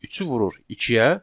Üçü vurur ikiyə.